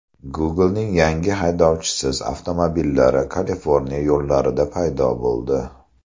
Google’ning yangi haydovchisiz avtomobillari Kaliforniya yo‘llarida paydo bo‘ldi.